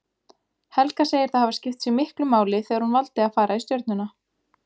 Helga segir það hafa skipt sig miklu máli þegar hún valdi að fara í Stjörnuna.